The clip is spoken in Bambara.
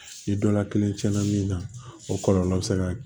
Ni dɔla kelen tiɲɛna min na o kɔlɔlɔ bɛ se ka